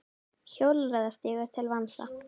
Hjólreiðastígur til vansa